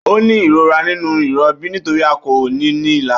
Ó ní ìrora nínú ìrọbí nítorí a kọ ọ́ ní ilà